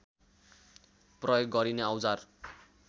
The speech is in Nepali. प्रयोग गरिने औजार